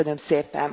Köszönöm szépen!